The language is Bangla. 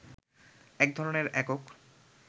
এক ধরনের একক